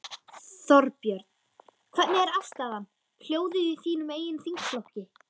Þorbjörn: Hvernig er afstaðan, hljóðið í þínum eigin þingflokki?